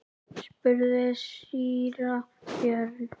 spurði síra Björn.